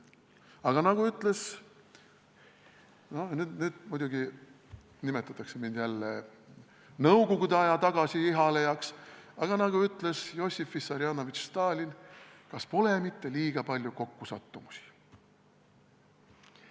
Aga nagu ütles – nüüd muidugi nimetatakse mind jälle nõukogude aja tagasi ihalejaks – Jossif Vissarionovitš Stalin: "Kas pole mitte liiga palju kokkusattumusi?